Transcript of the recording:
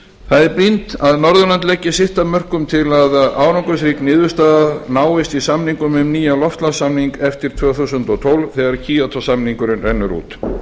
það er brýnt að norðurlönd leggi sitt af mörkum til að árangursrík niðurstaða náist í samningum um nýjan loftslagssamning eftir tvö þúsund og tólf þegar kyoto samningurinn rennur út